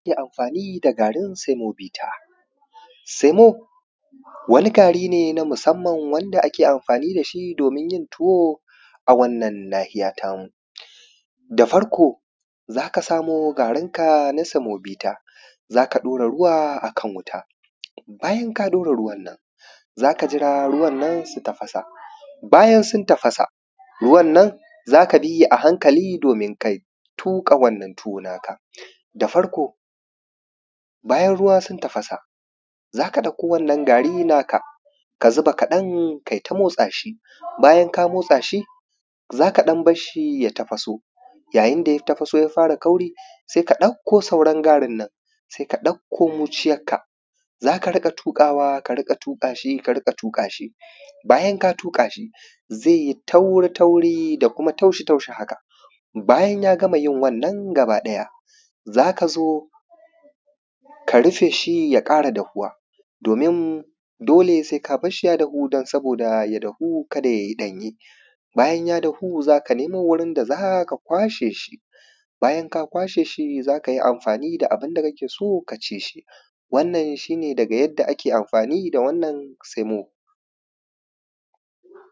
Yadda ake amfaani da gaarin semovita. Semo wani gaari ne na musamman wanda ake amfaani da shi doomin yin tuwo a wannan naahiya ta mu. Da farko za ka samo gaarin ka na samobita, za ka daura ruwa akan wuta, bayan ka ɗaura ruwan nan za ka jira ruwan nan su tafasa, bayan sun tafasa ruwan nan za ka bi hi a hankali doomin ka tuƙa wannan tuwo naa ka. Da farko, bayan ruwa sun tafasa za ka ɗauko wannan gaari naa ka ka zuba kaɗan ka yi ta motsa ʃi, bayan kaa motsa shi za ka ɗan barshi ya tafaso, yayin da ya tafaso ya fara kauri sai ka ɗauko sauran gaarin nan, sai ka ɗauko muuciyakka za ka riƙa tuƙaawa ka riƙa tuƙaa shi ka riƙa tuƙaa shi, bayan ka tuƙaa shi zai yi tauri-tauri da kuma taushi- taushi haka bayan ya gama yin wannan gaba ɗaya za ka zo ka rufe shi ya ƙara dafuwa doomin dole sai ka barshi ya dahu don sabooda ya dahu ka da yayi ɗanye bayan ya dahu za ka nemo wurin da za ka kwashee shi, bayan ka kwashee shi za ka yi amfaani da abin da kake so ka ci shi wannan shi ne daga yadda amfaani da wannan semo.